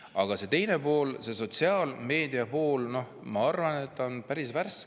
Aga see teine pool, see sotsiaalmeediapool, ma arvan, on päris värske.